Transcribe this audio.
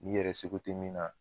Ni yɛrɛ seko te min na